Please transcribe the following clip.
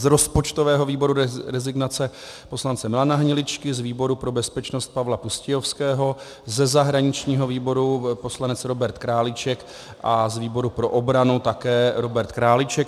Z rozpočtového výboru rezignace poslance Milana Hniličky, z výboru pro bezpečnost Pavla Pustějovského, ze zahraničního výboru poslanec Robert Králíček a z výboru pro obranu také Robert Králíček.